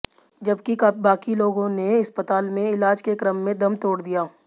जबकि बाकी लोगों ने अस्पताल में इलाज के क्रम में दम तोड़ दिया